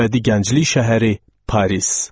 Əbədi gənclik şəhəri Paris.